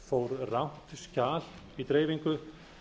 fór rangt skjal í dreifingu